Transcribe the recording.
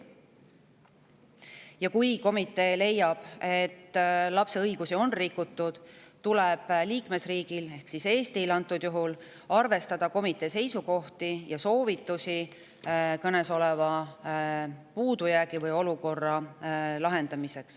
Ja kui komitee leiab, et lapse õigusi on rikutud, tuleb liikmesriigil, ehk Eestil antud juhul, arvestada komitee seisukohti ja soovitusi, kuidas kõnesolev puudujääk või olukord lahendada.